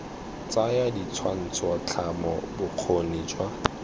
tsaya ditshwantsho tlhamo bokgoni jwa